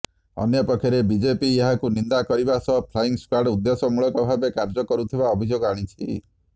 ଅନ୍ୟପକ୍ଷରେ ବିଜେପି ଏହାକୁ ନିନ୍ଦା କରିବା ସହ ଫ୍ଲାଇଂ ସ୍କ୍ବାଡ୍ ଉଦ୍ଦେଶ୍ୟମୂଳକ ଭାବେ କାର୍ଯ୍ୟ କରୁଥିବା ଅଭିଯୋଗ ଆଣିଛି